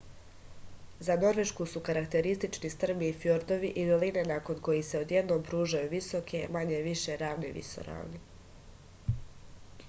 za norvešku su karakteristični strmi fjordovi i doline nakon kojih se odjednom pružaju visoke manje-više ravne visoravni